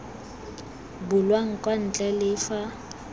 bulwang kwa ntle le fa